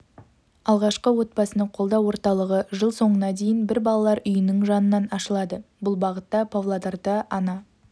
алғашқы отбасыны қолдау орталығы жыл соңына дейін бір балалар үйінің жанынан ашылады бұл бағытта павлодарда ана